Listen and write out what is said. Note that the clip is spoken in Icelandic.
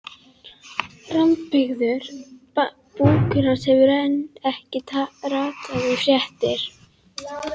Rammbyggður búkur hans hefur enn ekki ratað í fréttir.